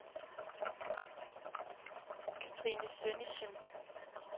Catrine Sønnichsen